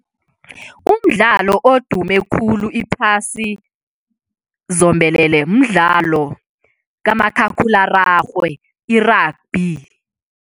Umdlalo odume khulu iphasi zombelele mdlalo kamakhakhulararhwe, i-rugby.